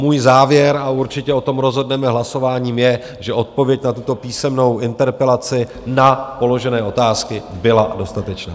Můj závěr - a určitě o tom rozhodneme hlasováním - je, že odpověď na tuto písemnou interpelaci, na položené otázky, byla dostatečná.